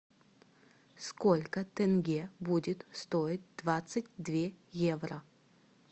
сколько тенге будет стоить двадцать две евро